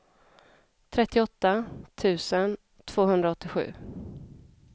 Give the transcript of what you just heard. trettioåtta tusen tvåhundraåttiosju